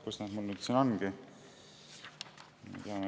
Kus nad mul siin on?